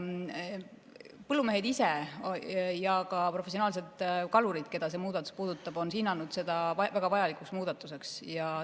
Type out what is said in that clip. Põllumehed ise ja ka professionaalsed kalurid, keda see muudatus puudutab, on hinnanud seda väga vajalikuks muudatuseks.